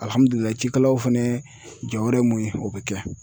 cikɛlaw fɛnɛ jɔyɔrɔ ye mun ye o bɛ kɛ.